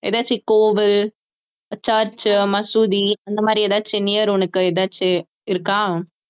ஏதாச்சும் கோவில் church மசூதி அந்த மாதிரி ஏதாச்சும் near உனக்கு ஏதாச்சும் இருக்கா